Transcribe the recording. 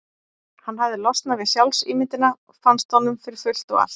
Hann hafði losnað við sjálfsímyndina, fannst honum, fyrir fullt og allt.